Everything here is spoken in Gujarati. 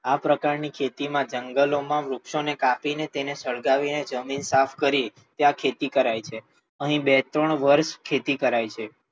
આ પ્રકાર ની ખેતી માં જંગલો માં વૃક્ષો ને કાપી ને, તેને સળગાવીને જમીન સાફ કરી ત્યાં ખેતી કરાય છે. અહી બે ત્રણ વર્ષ ખેતી કરાય છે.